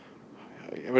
verður